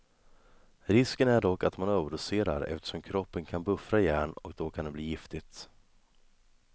Risken är dock att man överdoserar eftersom kroppen kan buffra järn, och då kan det bli giftigt.